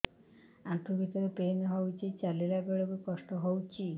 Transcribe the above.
ଆଣ୍ଠୁ ଭିତରେ ପେନ୍ ହଉଚି ଚାଲିଲା ବେଳକୁ କଷ୍ଟ ହଉଚି